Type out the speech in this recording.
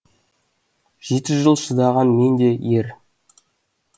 жеті жыл шыдаған мен де ер